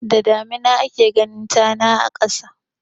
Da damina ake ganin tana a ƙasa.